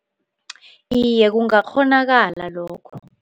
Iye, kungakghonakala lokho.